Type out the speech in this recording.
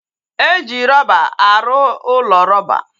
Eji rọba arụ ụlọ roba